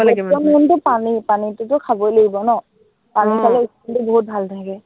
main টো তো পানী। পাানীটোতো খাবই লাগিব ন, আহ পানী খালে skin টো বহুত ভালে থাকে।